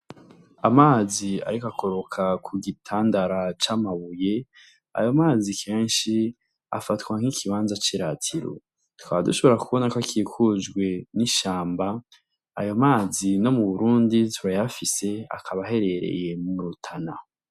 Amazi ariko akoroka ku gitandara c'amabuye ayo mazi kensi afatwa nkikibanza c'iratiro tukaba dushobora kubonako akikujwe n'ishamba. Ayo mazi ni mu Burundi turayafise akaba aherereye mu Rutana.